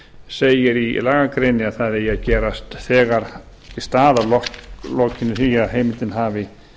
segir í lagagreininni að það eigi að gerast þegar í stað að loknu því að heimildin hafi